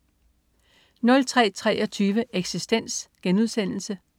03.23 Eksistens*